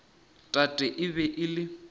tate e be e le